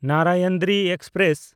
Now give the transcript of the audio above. Narayanadri express